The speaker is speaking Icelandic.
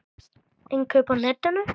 Innkaup á netinu?